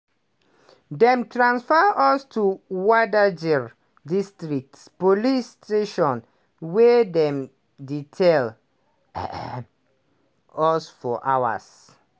"dem transfer us to wadajir district police station wia dem detain us for hours.